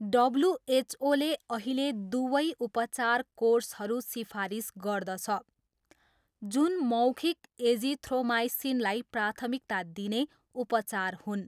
डब्ल्युएचओले अहिले दुवै उपचार कोर्सहरू सिफारिस गर्दछ, जुन मौखिक एजिथ्रोमाइसिनलाई प्राथमिकता दिइने उपचार हुन्।